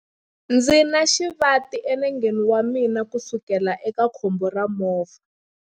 Ndzi na xivati enengeni wa mina kusukela eka khombo ra movha.